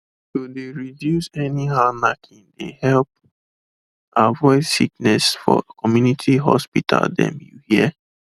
to de reduce any how knacking de help avoid sickness for community hospital them you hear